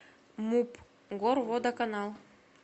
муп горводоканал